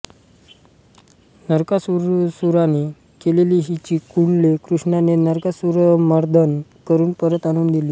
नरकासुराने नेलेली हिची कुंडले कृष्णाने नरकासुरमर्दन करून परत आणून दिली